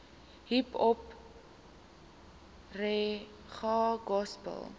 hiphop reggae gospel